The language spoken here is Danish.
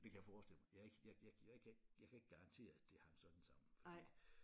Det kan jeg forestille mig